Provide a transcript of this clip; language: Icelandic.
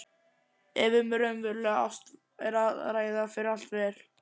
Ef um raunverulega ást er að ræða fer allt vel.